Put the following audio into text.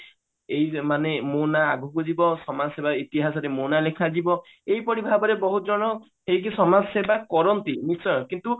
ଏଇ ମାନେ ମୁଁ ନା ଆଗକୁ ଯିବ ନା ସମାଜ ସେବା ଇତିହାସରେ ମୋ ନା ଲେଖା ଯିବ ଏହିପରି ଭାବରେ ବହୁତ ଜଣ ହେଇକି ସମାଜସେବା କରନ୍ତି ନିଶ୍ଚୟ କିନ୍ତୁ